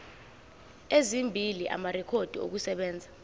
ezimbili amarekhodi okusebenza